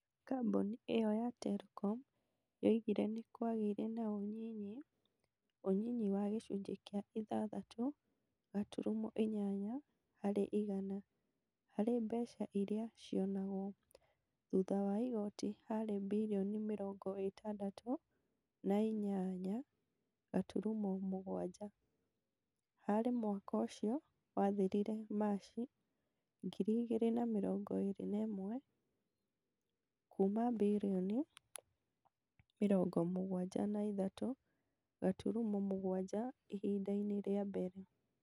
Kambuni ĩyo ya Telecom yoigire nikwagĩire na ũnyinyi. Ũnyinyi wa gĩcunjĩ kĩa ithathatũ gaturumo inyanya harĩ igana harĩ mbeca iria cionagwo. Thutha wa igooti harĩ birioni mĩrongo ĩtandatu na inyaya gaturumo mũgwanja. Harĩ mwaka ũcio wathirire Machi 2021. kuuma bririoni mĩrongo mũgwanja na ithatũ gaturumo mũgwanja ihinda-inĩ rĩa mbere.